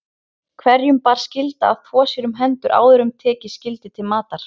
Hverjum bar skylda að þvo sér um hendur áður en tekið skyldi til matar.